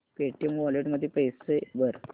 Paytm wallet मध्ये पैसे भर